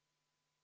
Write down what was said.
Hea juhataja!